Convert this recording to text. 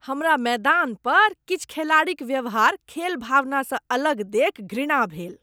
हमरा मैदान पर किछु खेलाड़ीक व्यवहार खेलभावना स अलग देखि घृणा भेल ।